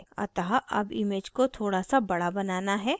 अतः अब image को थोड़ा so बड़ा बनाना है